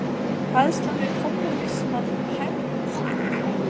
Hræðslan við kommúnismann ærði helming þýsku þjóðarinnar í fang nasismans.